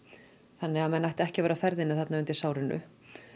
þannig að menn ættu ekki að vera á ferðinni þarna undir sárinu